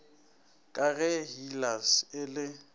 ka ge hellas e le